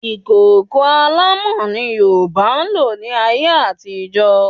Ìkòkò alámọ̀ ni Yorùbá ń lò ní ayé àtijọ́